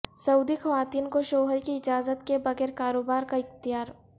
سعودی خواتین کو شوہر کی اجازت کے بغیر کاروبار کا اختیار